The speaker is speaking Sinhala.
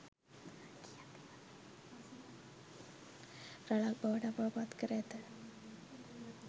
රැලක් බවට අපව පත් කර ඇත